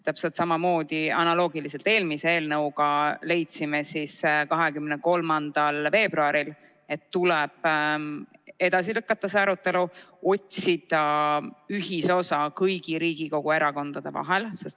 Täpselt samamoodi nagu eelmise eelnõu puhul, leidsime 23. veebruaril, et tuleb see arutelu edasi lükata ja otsida ühisosa kõigi Riigikogu erakondade vahel.